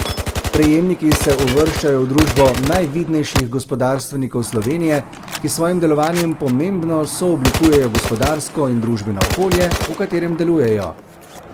Prejemniki se uvrščajo v družbo najvidnejših gospodarstvenikov Slovenije, ki s svojim delovanjem pomembno sooblikujejo gospodarsko in družbeno okolje, v katerem delujejo.